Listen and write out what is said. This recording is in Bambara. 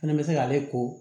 Fɛnɛ bɛ se k'ale ko